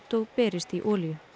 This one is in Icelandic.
og berist í olíu